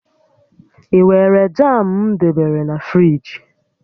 I weere jam m debere na friji?